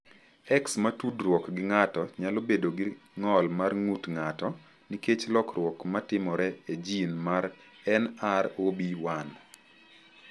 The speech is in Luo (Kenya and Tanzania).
X ma tudruok gi ng’ato nyalo bedo gi ng’ol mar ng’ut ng’ato nikech lokruok ma timore e jin mar NR0B1.